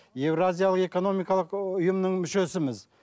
еуразиялық экономикалық ұйымының мүшесіміз